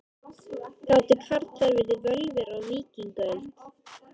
Gátu karlar verið völvur á víkingaöld?